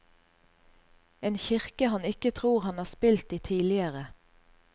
En kirke han ikke tror han har spilt i tidligere.